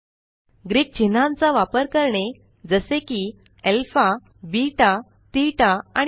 Greek चिन्हांचा वापर करणे जसे की अल्फा बेटा ठेता आणि पीआय